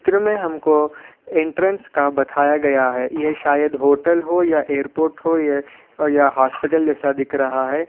त्र में हमको एंट्रेंस का बताया गया है यह शायद होटल हो या एअरपोर्ट हो या.. या हॉस्पिटल जैसा दिख रहा है।